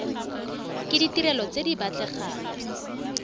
ke ditirelo tse di batlegang